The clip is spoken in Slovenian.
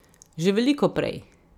Že veliko prej.